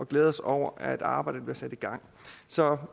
glæder os over at arbejdet bliver sat i gang så